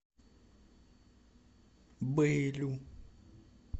бэйлю